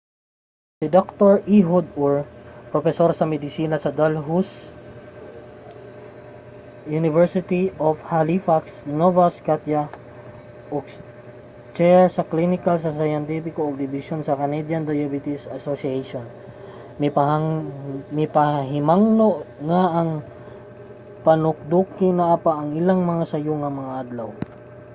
si dr. ehud ur propesor sa medisina sa dalhousie university sa halifax nova scotia ug chair sa klinikal ug siyentipiko nga dibisyon sa canadian diabetes association mipahimangno nga ang panukiduki naa pa sa iyang sayo nga mga adlaw